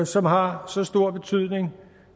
som har så stor betydning